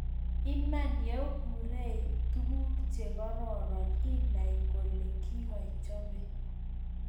Iman, yougireii tuguk chegororon inay kole kigaichope